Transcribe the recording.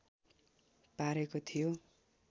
पारेको थियो